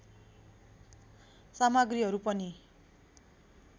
सामग्रीहरू पनि